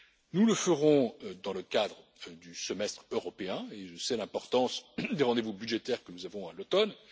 Nous le ferons dans le cadre du Semestre européen, et je sais l'importance des rendez vous budgétaires que nous avons à l'automne.